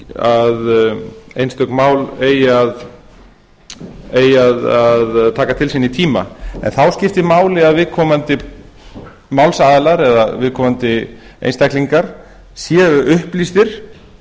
að einstök mál eigi að taka til sín í tíma en þá skiptir máli að viðkomandi einstaklingar séu upplýstir